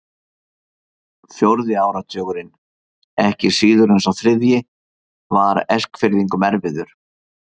Fjórði áratugurinn, ekki síður en sá þriðji, var Eskfirðingum erfiður.